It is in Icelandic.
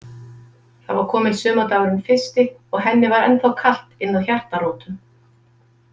Það var kominn sumardagurinn fyrsti og henni var ennþá kalt innað hjartarótum.